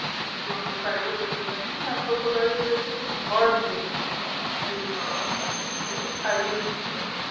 কিন্তু আমরা tiger দেখতে পাইনি হ্যা crocodiles দেখেছি birds দেখেছি বিভিন্ন রকমের কিন্তু tigers দেখতে পাইনি